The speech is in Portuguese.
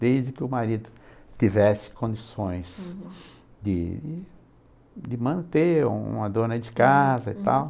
Desde que o marido tivesse condições, uhum, de de manter uma dona de casa e tal.